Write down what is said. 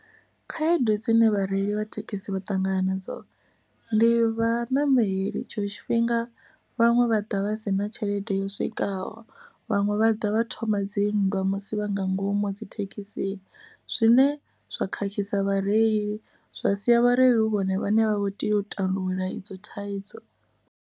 Khaedu dzine vhareili vha thekhisi vha ṱangana nadzo ndi vhaṋameli tshṅwe tshifhinga vhaṅwe vha ḓa vha si na tshelede yo swikaho vhaṅwe vha ḓa vha thoma dzinndwa musi vha nga ngomu dzi thekhisini zwine zwa khakhisa vhareili zwa sia vhareili hu vhone vhaṋe vha tea u tandulula idzo thaidzo.